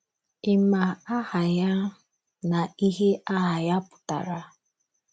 Ị̀ ma aha ya na ihe aha ya pụtara?